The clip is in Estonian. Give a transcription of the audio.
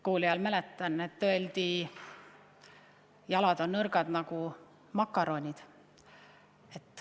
Kooliajal, mäletan, öeldi mõnele, et su jalad on nagu keedetud makaronid.